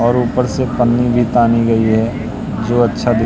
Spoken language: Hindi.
और ऊपर से पन्नी भी तानी गई है जो अच्छा दि--